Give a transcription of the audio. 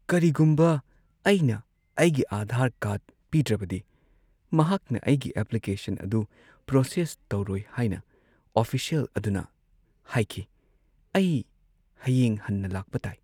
ꯀꯔꯤꯒꯨꯝꯕ ꯑꯩꯅ ꯑꯩꯒꯤ ꯑꯥꯙꯥꯔ ꯀꯥꯔꯗ ꯄꯤꯗ꯭ꯔꯕꯗꯤ ꯃꯍꯥꯛꯅ ꯑꯩꯒꯤ ꯑꯦꯄ꯭ꯂꯤꯀꯦꯁꯟ ꯑꯗꯨ ꯄ꯭ꯔꯣꯁꯦꯁ ꯇꯧꯔꯣꯏ ꯍꯥꯏꯅ ꯑꯣꯐꯤꯁꯤꯌꯦꯜ ꯑꯗꯨꯅ ꯍꯥꯏꯈꯤ꯫ ꯑꯩ ꯍꯌꯦꯡ ꯍꯟꯅ ꯂꯥꯛꯄ ꯇꯥꯏ꯫